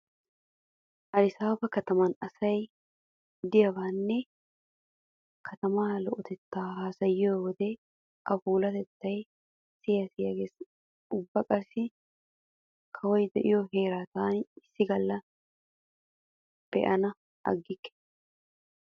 Aadisaba kataman asay diyabaanne katamaa lo'otettaa haasayiyo wode a puulatettay siya siya gees. Ubba qassi kawoy diyo heeraa taani issi galla baana aggikke.